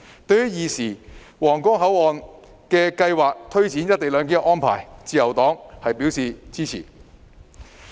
對於現時皇崗口岸的計劃和推展"一地兩檢"的安排，自由黨是支持的。